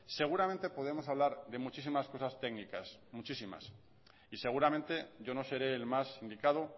seguramente podemos hablar de muchísimas cosas técnicas muchísimas y seguramente yo no seré el más indicado